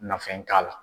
Nafɛn t'a la